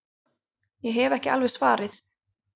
Ég hef ekki alveg svarið.